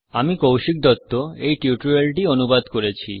আমি কৌশিক দত্ত এই টিউটোরিয়াল টি অনুবাদ করেছি